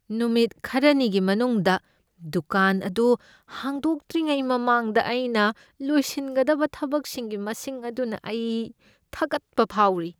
ꯅꯨꯃꯤꯠ ꯈꯔꯅꯤꯒꯤ ꯃꯅꯨꯡꯗ ꯗꯨꯀꯥꯟ ꯑꯗꯨ ꯍꯥꯡꯗꯣꯛꯇ꯭ꯔꯤꯉꯩ ꯃꯃꯥꯡꯗ ꯑꯩꯅ ꯂꯣꯏꯁꯤꯟꯒꯗꯕ ꯊꯕꯛꯁꯤꯡꯒꯤ ꯃꯁꯤꯡ ꯑꯗꯨꯅ ꯑꯩ ꯊꯀꯠꯄ ꯐꯥꯎꯔꯤ꯫